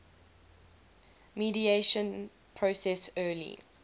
mediation process early